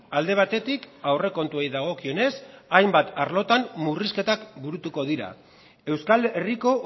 alde batetik aurrekontuei dagokionez hainbat arlotan murrizketak burutuko dira euskal herriko